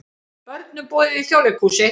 Börnum boðið í Þjóðleikhúsið